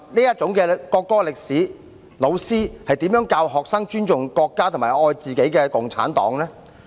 有這樣的國歌歷史，老師要如何教學生尊重國家，熱愛共產黨呢？